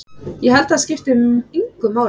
Ég held að það skipti engu máli.